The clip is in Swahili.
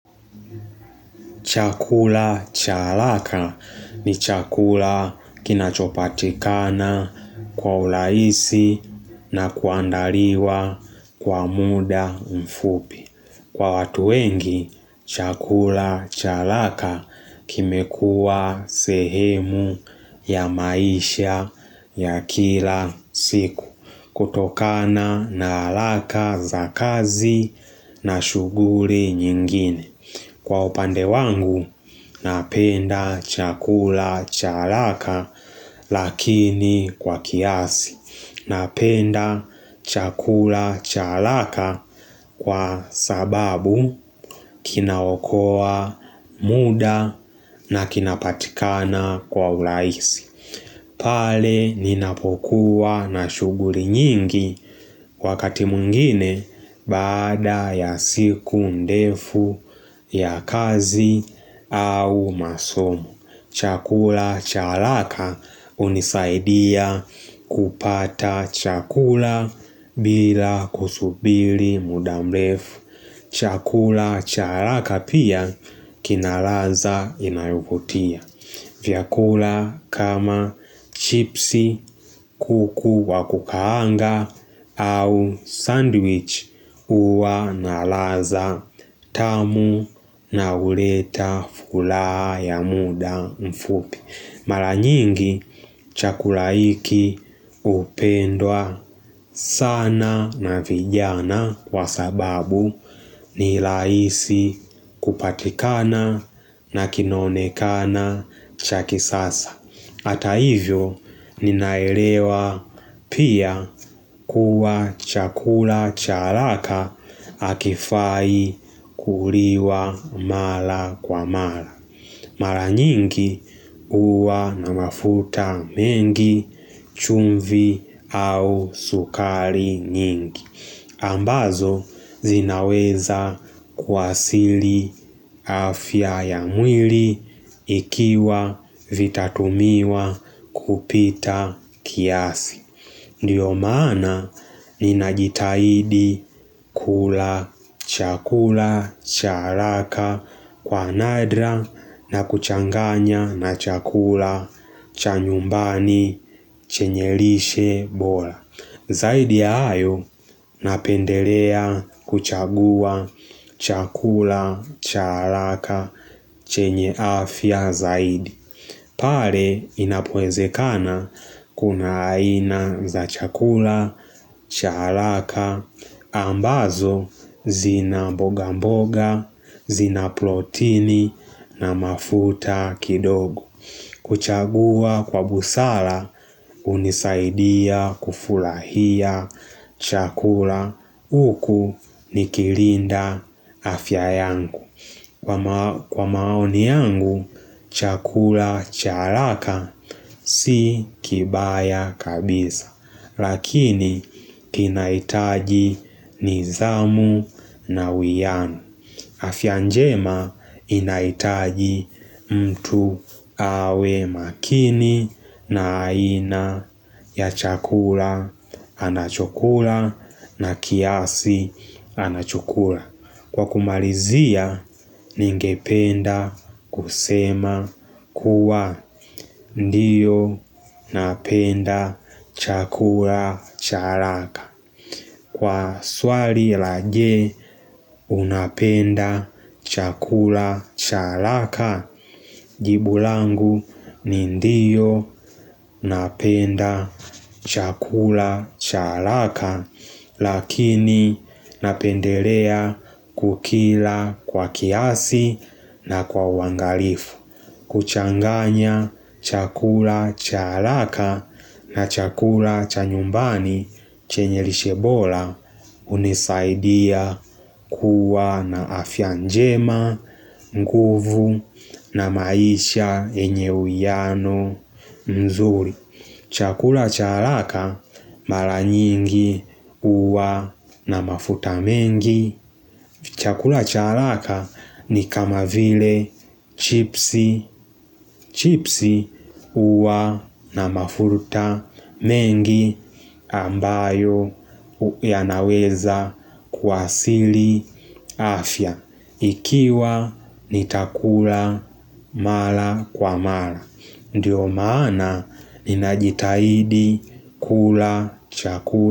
Chakula cha haraka ni chakula kinachopatikana kwa urahisi na kuandaliwa kwa muda mfupi. Kwa watu wengi, chakula cha haraka kimekuwa sehemu ya maisha ya kila siku kutokana na haraka za kazi na shuguli nyingine. Kwa upande wangu napenda chakula cha haraka lakini kwa kiasi. Napenda chakula cha haraka kwa sababu kinaokoa muda na kinapatikana kwa urahisi. Pale ninapokuwa na shuguli nyingi wakati mwengine baada ya siku ndefu ya kazi au masomu. Chakula cha haraka unisaidia kupata chakula bila kusubiri muda mrefu. Chakula cha haraka pia kina ladha inayovuutia. Vyakula kama chipsi, kuku, wakukaanga au sandwich uwa na ladha tamu na huleta furaha ya muda mfupi. Mara nyingi chakula hiki upendwa sana na vijana kwa sababu nirahisi kupatikana na kinonekana cha kisasa. Hata hivyo ninaelewa pia kuwa chakula cha haraka hakifai kuliwa mara kwa mara. Mara nyingi uwa na mafuta mengi chumvi au sukari nyingi. Ambazo zinaweza kuathiri afya ya mwili ikiwa vitatumiwa kupita kiasi. Ndiyo maana ninajitahidi kula chakula cha haraka kwa nadra na kuchanganya na chakula cha nyumbani chenye lishe bora. Zaidi ayo napendelea kuchagua chakula cha haraka chenye afya zaidi. Pale inapowezekana kuna aina za chakula, cha haraka, ambazo zina mboga mboga, zina protini na mafuta kidogo. Kuchagua kwa busara unisaidia kufurahia chakula uku nikilinda afya yangu. Kwa maoni yangu, chakula cha haraka si kibaya kabisa, lakini kinaitaji nidhamu na uwiano. Afya njema inaitaji mtu awe makini na aina ya chakula anachokula na kiasi anachokula. Kwa kumalizia, ningependa kusema kuwa ndiyo napenda chakula cha haraaka Kwa swali la je. Unapenda chakula cha haraka Jibulangu ni ndiyo napenda chakula cha haraaka lakini napendelea kukila kwa kiasi na kwa uangalifu. Kuchanganya chakula cha haraka na chakula cha nyumbani chenye lishe bora unisaidia kuwa na afya njema, nguvu na maisha yenye uwiano mzuri. Chakula cha haraka mara nyingi uwa na mafuta mengi. Chakula cha haraka ni kama vile chipsi, chipsi uwa na mafuta mengi ambayo yanaweza kuathiri afya. Ikiwa nitakula mara kwa mara. Ndiyo maana ninajitahidi kula chakula.